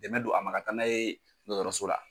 Dɛmɛ don a ma ka taa n'a ye dɔtɔrɔso la.